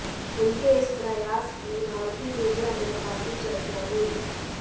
उनके इस प्रयास की भारतीय मिडिया में काफी चर्चा हुई